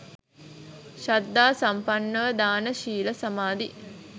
ශ්‍රද්ධා සම්පන්නව දාන, ශීල, සමාධි,